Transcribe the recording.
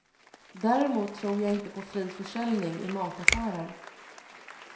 Däremot tror jag inte på fri försäljning i mataffärer.